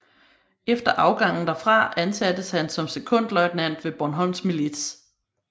Efter afgangen derfra ansattes han som sekondløjtnant ved Bornholms Milits